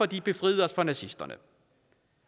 de befriede os for nazisterne